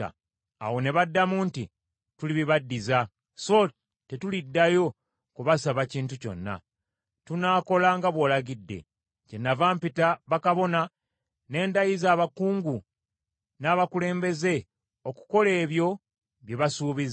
Awo ne baddamu nti, “Tulibibaddiza, so tetuliddayo kubasaba kintu kyonna. Tunaakola nga bw’olagidde.” Kyennava mpita bakabona ne ndayiza abakungu n’abakulembeze okukola ebyo bye baasuubiza.